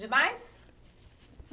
Demais?